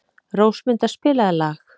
Rósmunda, spilaðu lag.